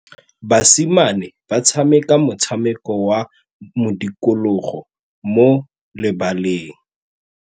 Basimane ba tshameka motshameko wa modikologô mo lebaleng.